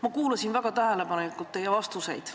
Ma kuulasin väga tähelepanelikult teie vastuseid.